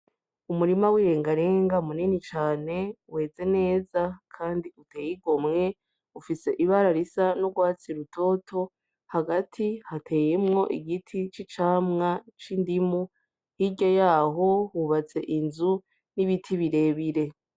Umurima w'irengarenga munini cane weze neza kandi uteye igomwe ufise ibara risa n'urwatsi rutoto hagati hateyemwo igiti c'icamwa c'indimu hirya yaho hubatse inzu n'ibiti birebire.